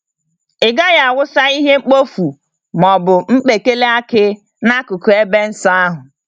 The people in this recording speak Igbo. Ị gaghị awụsa ihe mkpofu ma ọ bụ mkpekele akị n'akụkụ ebe nsọ ahụ.